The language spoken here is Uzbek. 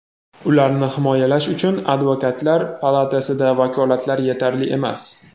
ularni himoyalash uchun Advokatlar palatasida vakolatlar yetarli emas.